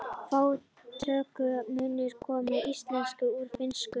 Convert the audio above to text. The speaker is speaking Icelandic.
Fá tökuorð munu komin í íslensku úr finnsku.